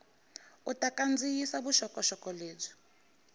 u ta kandziyisa vuxokoxoko lebyi